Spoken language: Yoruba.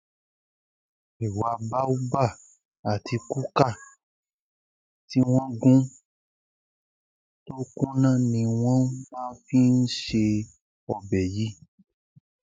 ẹwà baobab àti kùkà tí wọn gùn tó kùnà ni wọn má ń fi ṣe ṣe ọbẹ yìí